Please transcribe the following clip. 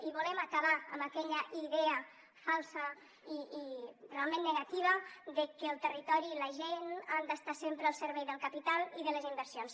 i volem acabar amb aquella idea falsa i realment negativa de que el territori i la gent han d’estar sempre al servei del capital i de les inversions